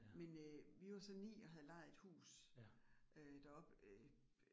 Men øh vi var så 9 og havde lejet et hus øh deroppe øh